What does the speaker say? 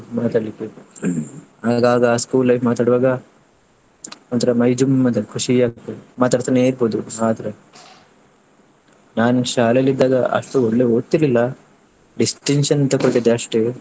ಮಾತಾಡ್ಲಿಕ್ಕೆ ಆಗಾಗ school life ಮಾತಾಡುವಾಗ ಒಂಥರಾ ಮೈ ಜುಮ್ ಅಂತ ಖುಷಿ ಆಗತ್ತೆ, ಮಾತಾಡ್ತಾನೆ ಇರ್ಬೋದು ಆದ್ರೆ, ನಾನು ಶಾಲೆಯಲ್ಲಿ ಇದ್ದಾಗ ಅಷ್ಟು ಒಳ್ಳೆ ಓದ್ತಿರ್ಲಿಲ್ಲ distinction ತಕ್ಕೋಳ್ತಿದ್ದೆ ಅಷ್ಟೇ.